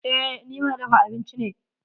Eh, ni mai dafa abinci ne.